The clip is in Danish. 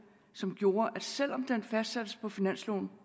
som gjorde at selv om den fastsattes på finansloven